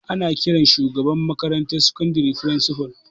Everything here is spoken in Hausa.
Ana ƙiran shugaban makarantar sakandare firisipal